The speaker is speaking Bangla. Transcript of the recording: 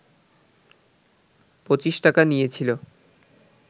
পঁচিশ টাকা নিয়েছিল